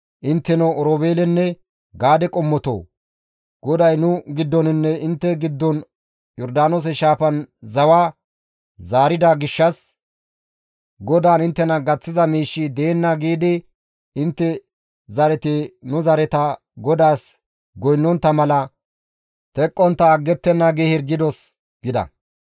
Intteno Oroobeelenne Gaade qommotoo, GODAY nu giddoninne intte giddon Yordaanoose shaafan zawa zaarida gishshas, GODAAN inttena gaththiza miishshi deenna› giidi intte zareti nu zareta GODAAS goynnontta mala teqqontta aggettenna gi hirgidos» gida.